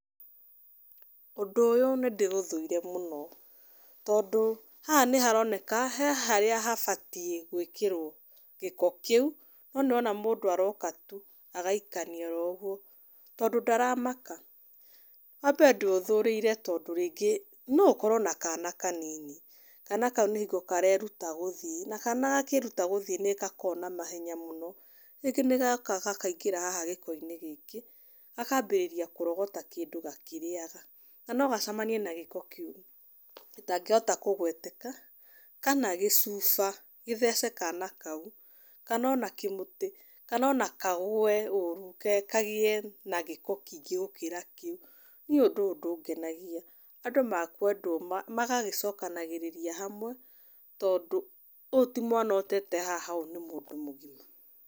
Ũndũ ũyũ nĩ ndĩũthũire mũno. Tondũ haha nĩ haroneka, he harĩa habatiĩ gwĩkĩrwo gĩko kĩu, no nĩ ũrona mũndũ aroka tu agaikania oro ũguo. Tondũ ndaramaka. Wa mbere, ndĩũthũrĩire tondũ rĩngĩ, no ũkorwo na kana kanini, kana kau nĩ hingo kareruta gũthiĩ. Na kana gakĩruta gũthiĩ nĩ gakoragwo na mahenya mũno, rĩngĩ nĩ goka gakaingĩra haha gĩko-inĩ gĩkĩ, gakambĩrĩria kũrogata kĩndĩ gakĩrĩaga. Na no gacamanie na gĩko kĩũru gĩtangĩhota kũgweteka, kana gĩcuba, gĩthece kana kau. Kana ona kĩmũti, kana ona kagũe ũru kagiĩ na gĩko kĩingĩ gũkĩra kĩu. Niĩ ũndũ ũyũ ndũngenagia. Andũ mekwendwo magagĩcokanagĩrĩria hamwe, tondũ ũũ ti mwana ũtete haha ũũ nĩ mũndũ mũgima.